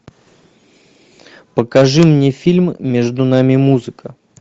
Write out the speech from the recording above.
покажи мне фильм между нами музыка